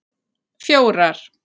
fjórar